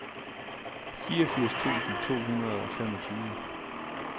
fireogfirs tusind to hundrede og femogtyve